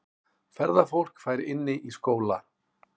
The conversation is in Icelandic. Ferðafólk fær inni í skóla